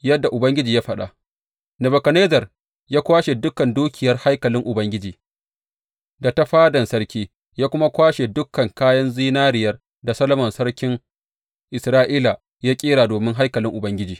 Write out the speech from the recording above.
Yadda Ubangiji ya faɗa, Nebukadnezzar ya kwashe dukan dukiyar haikalin Ubangiji, da ta fadan sarki, ya kuma kwashe dukan kayan zinariyar da Solomon sarkin Isra’ila ya ƙera domin haikalin Ubangiji.